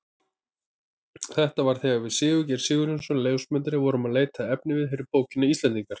Þetta var þegar við Sigurgeir Sigurjónsson ljósmyndari vorum að leita að efniviði fyrir bókina Íslendingar.